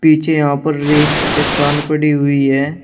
पीछे यहां पर रेत की चट्टान पड़ी हुई है।